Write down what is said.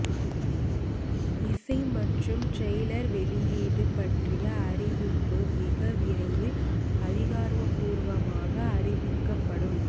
இசை மற்றும் டிரெயலர் வெளியீடு பற்றிய அறிவிப்பு மிக விரைவில் அதிகாரப்பூர்வமாக அறிவிக்கப்படும்